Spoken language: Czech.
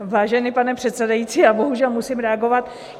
Vážený pane předsedající, já bohužel musím reagovat.